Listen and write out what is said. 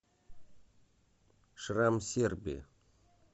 шрам сербии